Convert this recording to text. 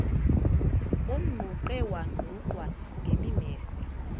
umnquqe wanqunqwa ngemimese